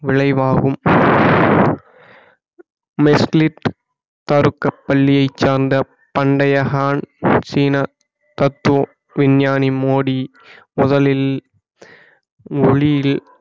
விளைவாகும் மெர்சிலிப் ஃபருக் பள்ளியைச் சார்ந்த பண்டையகான் சீனா தத்தோ விஞ்ஞானி மோடி முதலில் ஒளியில்